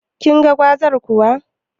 Kinga gwazar kuwa?